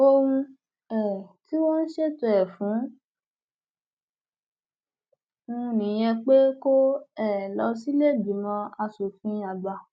ohun um tí wọn ń ṣètò ẹ fún un nìyẹn pé kó um lọ sílẹẹgbìmọ asòfin àgbà